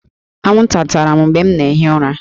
Anwụnta tara m mgbe m na-ehi ụra